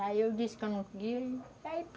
Aí eu disse que eu não queria e aí pronto.